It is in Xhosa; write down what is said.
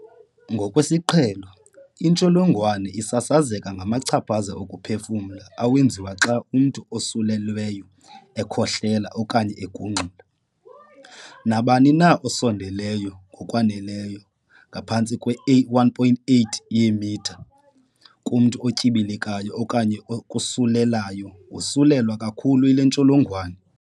Ngokwesiqhelo, intsholongwane isasazeka ngamachaphaza okuphefumla awenziwa xa umntu osulelweyo ekhohlela okanye egungxula. Nabani na osondeleyo ngokwaneleyo ngaphantsi kwe-1.8 yeemitha kumntu otyibilikayo okanye okosulelayo wosulelwa kakhulu yile ntsholongwane.